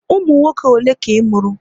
Ụmụ nwoke ole ka ị mụrụ?